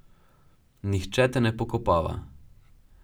Nihče te ne pokopava.